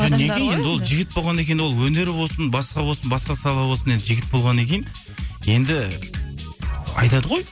жігіт болғаннан кейін ол өнер болсын басқа болсын басқа сала болсын енді жігіт болғаннан кейін енді айтады ғой